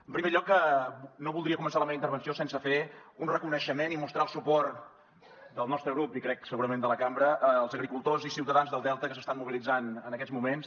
en primer lloc no voldria començar la meva intervenció sense fer un reconeixement i mostrar el suport del nostre grup i crec segurament de la cambra als agricultors i ciutadans del delta que s’estan mobilitzant en aquests moments